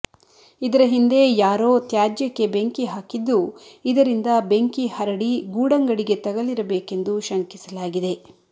ಇದರ ಹಿಂದೆ ಯಾರೋ ತ್ಯಾಜ್ಯಕ್ಕೆ ಬೆಂಕಿ ಹಾಕಿದ್ದು ಇದರಿಂದ ಬೆಂಕಿ ಹರಡಿ ಗೂಡಂಗಡಿಗೆ ತಗಲಿರಬೇಕೆಂದು ಶಂಕಿಸಲಾಗಿದೆ